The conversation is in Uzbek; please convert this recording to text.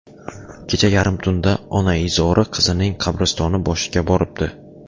Kecha yarim tunda onaizori qizining qabristoni boshiga boribdi.